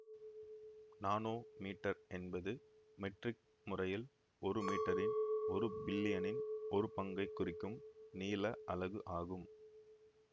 nanometre என்பது metric முறையில் ஒரு மீட்டரின் ஒரு பில்லியனின் ஒரு பங்கை குறிக்கும் நீள அலகு ஆகும்